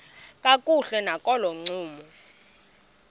kakuhle nakolo ncumo